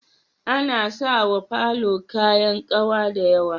Ana sawa falo kayan kawa da yawa